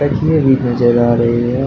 तकिए भी नजर आ रहे हैं।